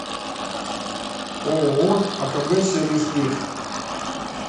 ооо акб сервис плюс